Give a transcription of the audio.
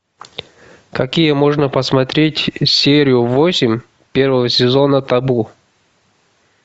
какие можно посмотреть серию восемь первого сезона табу